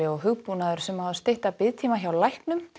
og hugbúnaður sem á að stytta biðtíma hjá læknum